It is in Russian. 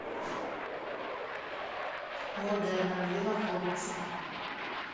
модена где находится